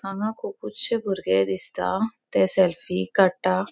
हांगा खूपूत्शे भुर्गे दिसता ते सेल्फ़ी काडट्टा.